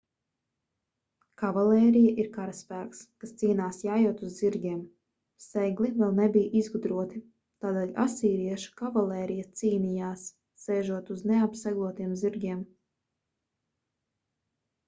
kavalērija ir karaspēks kas cīnās jājot uz zirgiem segli vēl nebija izgudroti tādēļ asīriešu kavalērija cīnījās sēžot uz neapseglotiem zirgiem